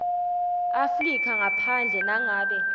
afrika ngaphandle nangabe